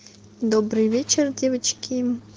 добрый вечер девочки